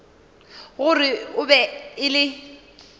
gore e be e le